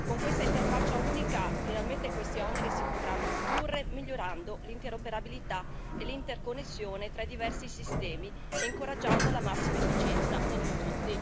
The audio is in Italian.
Con questa interfaccia unica finalmente questi oneri si potranno ridurre, migliorando l'interoperabilità e l'interconnessione tra i diversi sistemi e incoraggiando la massima efficienza nell'uso